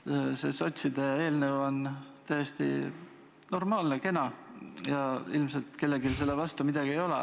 See sotside eelnõu on täiesti normaalne, kena, ja ilmselt kellelgi selle vastu midagi ei ole.